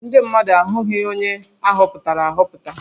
Ndị mmadụ ahụghị onye a họpụtara ahọpụta